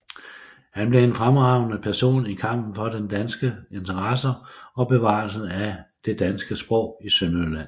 Han blev en fremtrædende person i kampen for danske interesser og bevarelsen af det danske sprog i Sønderjylland